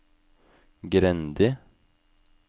Grendi